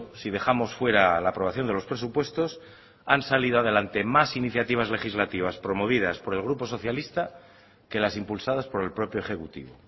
si dejamos fuera la aprobación de los presupuestos han salido a delante más iniciativas legislativas promovidas por el grupo socialista que las impulsadas por el propio ejecutivo